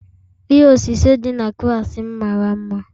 Ihe osise dị na klaasị m mara mma